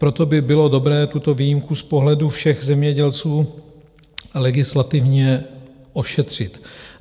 Proto by bylo dobré tuto výjimku z pohledu všech zemědělců legislativně ošetřit.